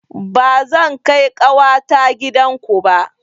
Ba zan kai ƙawata gidan ku ba